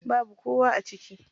Babu kowa a ciki.